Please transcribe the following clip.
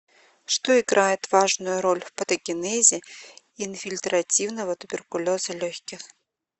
что играет важную роль в патогенезе инфильтративного туберкулеза легких